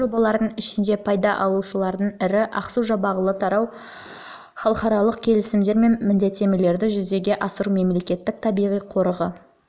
осы жобалардың ішінде пайда алушылардың бірі ақсу-жабағылы тарау халықаралық келісімдер мен міндеттемелерді жүзеге асыру мемлекеттік табиғи қорығы осы